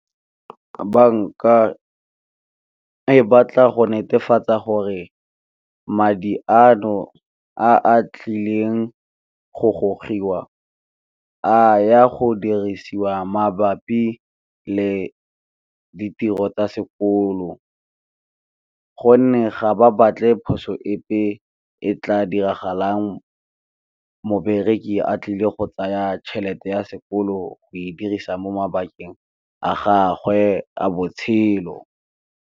Banka e batla go netefatsa gore madi ano a a tlileng go gogiwa, a ya go dirisiwa mabapi le ditiro tsa sekolo gonne ga ba batle phoso epe, e tla diragalang mo bereki a tlile go tsaya tšhelete ya sekolo go e dirisa mo mabakeng a gagwe a botshelo.